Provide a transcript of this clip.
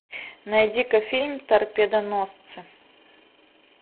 найди ка фильм торпедоносцы